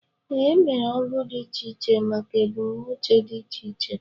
Ee, emere ogu dị iche iche maka ebumnuche dị iche iche